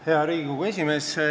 Hea Riigikogu esimees!